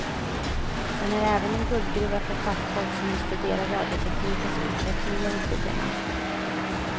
Den är även en guldgruva för fackfolk som vill studera radioteknikens utveckling genom tiderna.